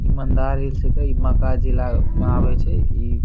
इ मंदार हिल छके इ बांक़ा जिला मे आवे छे इ --